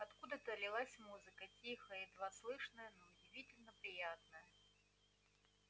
откуда-то лилась музыка тихая едва слышная но удивительно приятная